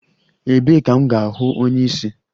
Ebee ka m ga-ahụ onye isi?